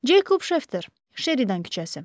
Ceykob Şefter, Şeridan küçəsi.